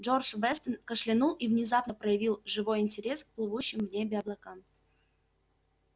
джордж вестон кашлянул и внезапно проявил живой интерес к плывущим в небе облакам